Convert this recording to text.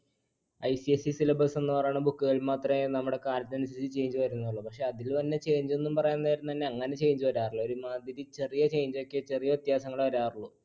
ICSE syllabus എന്നുപറയണ book കൾക്കുമാത്രേ നമ്മുടെ കാലത്തിനനുസരിച്ച് change വരുന്നുള്ളു. പക്ഷെ അതിലുംതന്നെ change എന്ന് പറയാൻ നേരം അങ്ങനെ change വരാറില്ല. ഒരു മാതിരി ചെറിയ change ഒക്കെ ചെറിയ വ്യത്യാസങ്ങളെ വരാറുള്ളൂ.